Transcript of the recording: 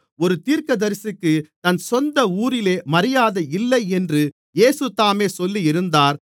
ஒரு தீர்க்கதரிசிக்குத் தன் சொந்த ஊரிலே மரியாதை இல்லை என்று இயேசு தாமே சொல்லியிருந்தார்